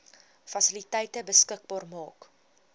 fasiliteite beskikbaar maak